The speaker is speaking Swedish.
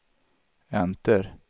enter